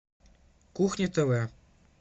кухня тв